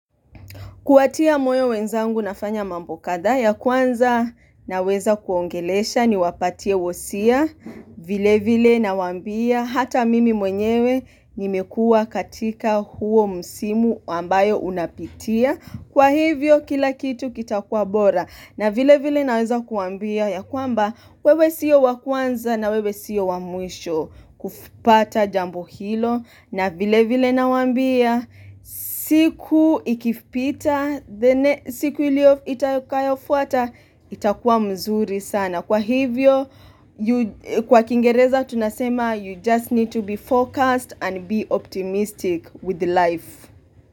Kuwatia moyo wenzangu nafanya mambo kadhaa ya kwanza naweza kuwaongelesha niwapatie wosia. Vile vile nawaambia hata mimi mwenyewe nimekuwa katika huo msimu ambayo unapitia. Kwa hivyo kila kitu kitakuwa bora na vile vile naweza kuwaambia ya kwamba wewe sio wa kwanza na wewe sio wa mwisho kupata jambo hilo. Na vile vile nawaambia siku ikipita siku ilio itakayofuata itakuwa mzuri sana Kwa hivyo Kwa kiingereza tunasema You just need to be focused and be optimistic with life.